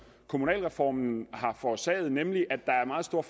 kommunalreformen har forårsaget nemlig at der er meget stor